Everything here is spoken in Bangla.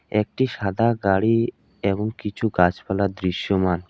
একটি সাদা গাড়ি এবং কিছু গাছপালা দৃশ্যমান।